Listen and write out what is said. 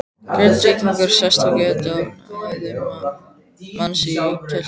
Grindvíkingur sestur í götuna og hafði höfuð manns í kjöltunni.